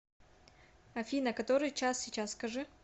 афина который час сейчас скажи